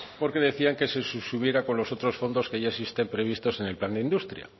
porque decían que se subsumiera con los otros fondos que ya existen previstos en el plan de industria